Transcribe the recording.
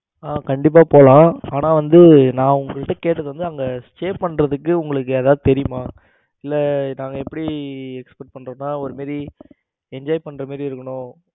ஆ கண்டிப்பா போலாம் ஆனா வந்து நான் உங்ககிட்ட கேட்டது வந்து அங்க stay பண்றதுக்கு உங்களுக்கு யாராவது தெரியுமா? இல்ல நாங்க எப்படி expect பண்றனா ஒரு மாதிரி enjoy பண்ற மாதிரி இருக்கணும்.